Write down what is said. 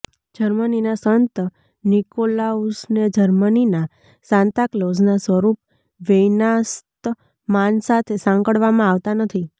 જર્મનીના સંત નિકોલાઉસને જર્મનીના સાન્તાક્લોઝના સ્વરૂપ વેઇનાશ્તમાન સાથે સાંકળવામાં આવતાં નથી